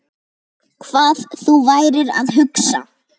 Hvað þú værir að hugsa.